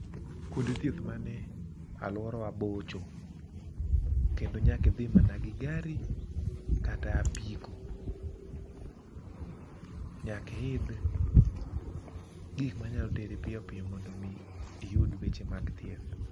kuonde thieth mani e aluorawa bocho, kendo nyaki dhi mana gi gari kata apiko. Nyaki idh gik manyalo teri piyopiyo mondo iyud weche mag thieth.